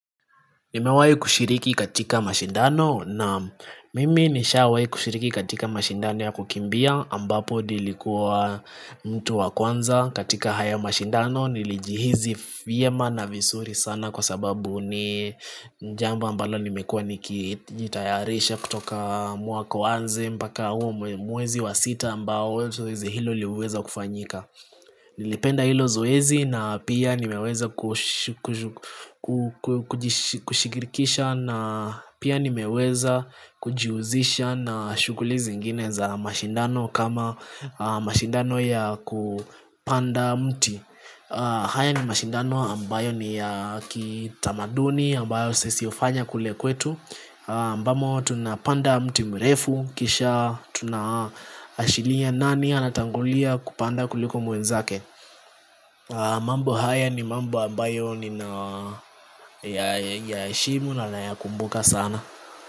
Nimewahi kushiriki katika mashindano? Naam mimi nimeshawahi kushiriki katika mashindano ya kukimbia ambapo nilikuwa mtu wa kwanza katika haya mashindano. Nilijihisi vyema na vizuri sana kwa sababu ni jambo ambalo nimekuwa nikijitayarisha kutoka mwaka uanze mpaka huo mwezi wa sita ambao zoezi hilo liweza kufanyika Nilipenda hilo zoezi na pia nimeweza kushirikisha na pia nimeweza kujihusisha na shughuli zingine za mashindano, kama mashindano ya kupanda mti haya ni mashindano ambayo ni ya kitamaduni, ambayo sisi hufanya kule kwetu Ambamo tunapanda mti mrefu kisha tunashiria nani anatangulia kupanda kuliko mwenzake mambo haya ni mambo ambayo ninayaheshimu na ninayakumbuka sana.